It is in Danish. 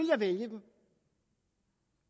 jeg vælge dem